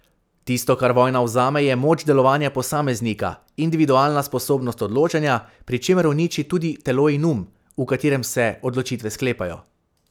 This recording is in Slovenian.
Tisto, kar vojna vzame, je moč delovanja posameznika, individualna sposobnost odločanja, pri čemer uniči tudi telo in um, v katerem se odločitve sklepajo.